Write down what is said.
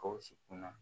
Gawusu kun na